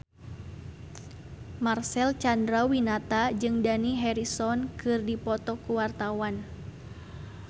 Marcel Chandrawinata jeung Dani Harrison keur dipoto ku wartawan